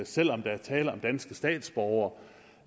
selv om der er tale om danske statsborgere